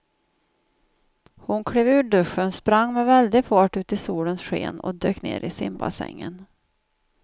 Hon klev ur duschen, sprang med väldig fart ut i solens sken och dök ner i simbassängen.